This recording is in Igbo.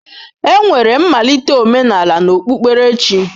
Enwere mmalite omenala na okpukperechi.